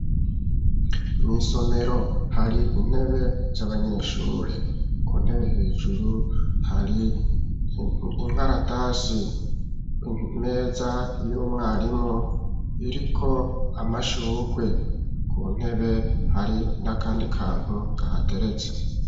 Mw'isomero hari intebe z'abanyeshure. ku ntebe hejuru hari inkaratasi. Imeza y'umwarimu iriko amashugwe. Ku ntebe hari n'akandi kantu kahateretse.